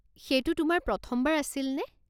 সেইটো তোমাৰ প্ৰথমবাৰ আছিলনে?